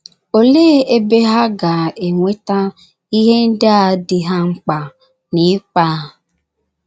Olee ebe ha ga - enweta ihe ndị a dị ha mkpa n’ịkpa a?